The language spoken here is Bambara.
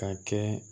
Ka kɛ